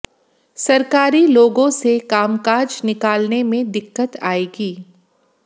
सरकारी लोगों से कामकाज निकालने में दिक्कत आएगी